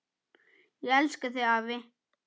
Ég elska þig, afi.